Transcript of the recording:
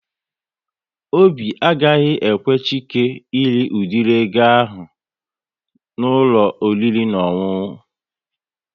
Obi agaghị ekwe Chike ịrị udiri ego ahụ n'ụlọ oriri na ọṅụṅụ